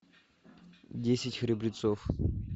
десять храбрецов